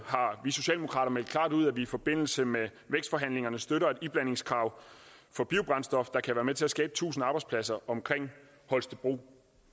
har vi socialdemokrater meldt klart ud at vi i forbindelse med vækstforhandlingerne støtter et iblandingskrav for biobrændstof der kan være med til at skabe tusind arbejdspladser omkring holstebro